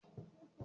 Mo ma lọ sí ṣọ́ọ̀ṣì